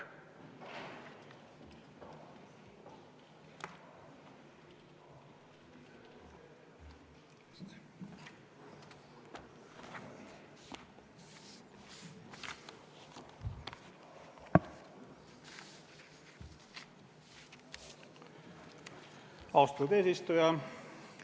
Austatud eesistuja!